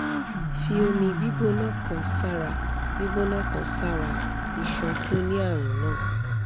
fi omi gbígbóná kan sára gbígbóná kan sára iṣan tó ní àrùn náà